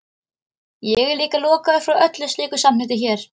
Ég er líka lokaður frá öllu slíku samneyti hér.